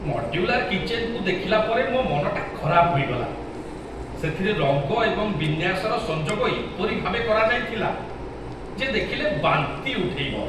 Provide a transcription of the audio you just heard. Modular କିଚେନ୍କୁ ଦେଖିଲା ପରେ ମୋ ମନଟା ଖରାପ ହୋଇଗଲା। ସେଥିରେ ରଙ୍ଗ ଏବଂ ବିନ୍ୟାସର ସଂଯୋଗ ଏପରି ଭାବେ କରାଯାଇଥିଲା ଯେ ଦେଖିଲେ ବାନ୍ତି ଉଠେଇବ।